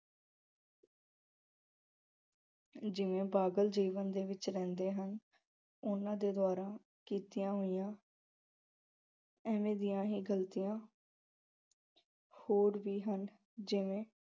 ਜਿਵੇਂ ਜੀਵਨ ਦੇ ਵਿੱਚ ਰਹਿੰਦੇ ਹਨ ਉਹਨਾਂ ਦੇ ਦੁਆਰਾ ਕੀਤੀਆ ਹੋਈਆਂ ਇਵੇਂ ਦੀਆ ਹੀ ਗਲਤੀਆਂ ਹੋਰ ਵੀ ਹਨ